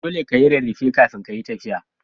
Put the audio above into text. Dole ka yi rarrafe kafin kayi tafiya.